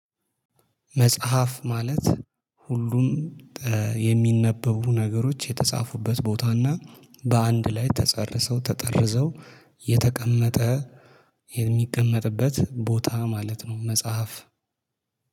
መጽሐፍ ማለት ሁሉም የሚነበቡ ነገሮች የተጻፉበት ቦታና በአንድ ላይ ተጸርሰው ተጠርዘው የተቀመጠ የሚቀመጥበት ቦታ ማለት ነው። መጽሐፍ